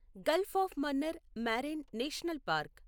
Gulf of Mannar marine national park